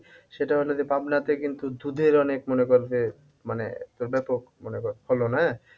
সেটা হলো যে পাবনাতে কিন্তু দুধের অনেক মনে কর যে মানে ব্যাপক মনে কর ফলন হ্যাঁ?